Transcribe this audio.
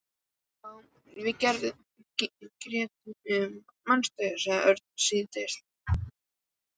Já, við og Gerður, manstu? sagði Örn stríðnislega.